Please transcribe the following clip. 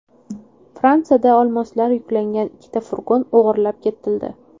Fransiyada olmoslar yuklangan ikkita furgon o‘g‘irlab ketildi.